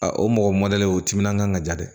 o mɔgɔ mɔdɛli o timinandiya ka diya dɛ